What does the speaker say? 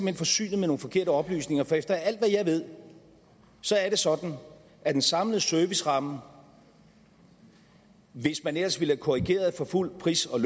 hen forsynet med nogle forkerte oplysninger for efter alt hvad jeg ved er det sådan at den samlede serviceramme hvis man ellers ville have korrigeret for fuld pris og